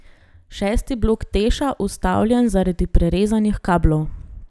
Šesti blok Teša ustavljen zaradi prerezanih kablov.